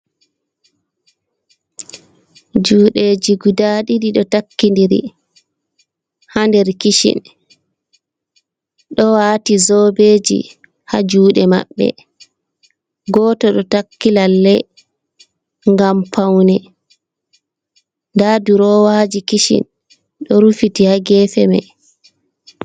Juuɗeji guda ɗiɗi, ɗo takkidiri ha nder kishin, ɗo wati zobeji ha jude mabbe, goto ɗo takki lallai gam paune nda durowaji kishin ɗo rufiti ha gefe mai..